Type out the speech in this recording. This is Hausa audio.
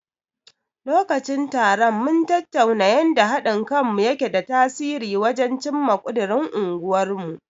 Lokacin taron, mun tattauna yanda haɗin kanmu yake da tasiri wajen cimma ƙudirin unguwarmu.